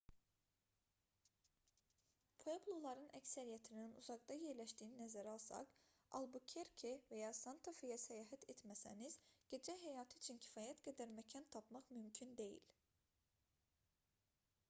puebloların əksəriyyətinin uzaqda yerləşdiyini nəzərə alsaq albukerke və ya santa-feyə səyahət etməsəniz gecə həyatı üçün kifayət qədər məkan tapmaq mümkün deyil